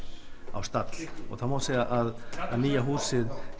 á stall það má segja að nýja húsið